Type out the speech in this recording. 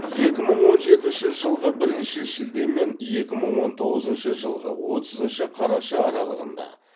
екі мың он жетінші жылғы бірінші шілде мен екі мың он тоғызыншы жылғы отызыншы қараша аралығында